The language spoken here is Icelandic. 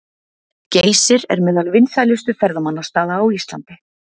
Geysir er meðal vinsælustu ferðamannastaða á Íslandi.